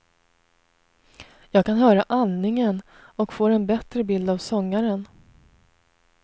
Jag kan höra andningen och får en bättre bild av sångaren.